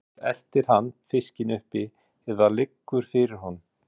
Annað hvort eltir hann fiskinn uppi eða liggur fyrir honum.